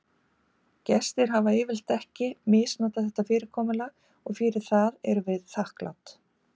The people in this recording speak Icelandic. Gestir hafa yfirleitt ekki heldur misnotað þetta fyrirkomulag og fyrir það erum við þakklát.